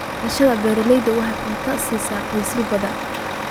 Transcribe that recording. Beerashada baradhada waxay cunto siisaa qoysas badan.